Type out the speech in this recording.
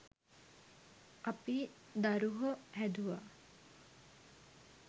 අපි දරුහො හැදුවා